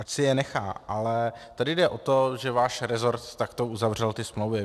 Ať si je nechá, ale tady jde o to, že váš resort takto uzavřel ty smlouvy.